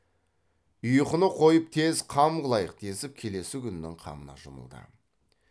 ұйқыны қойып тез қам қылайық десіп келесі күннің қамына жұмылды